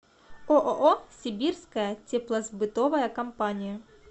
ооо сибирская теплосбытовая компания